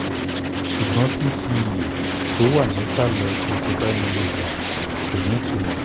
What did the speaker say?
ṣùgbọ́n fífi iye tó wà nísàlẹ̀ twenty five milligram kò ní ìtumọ́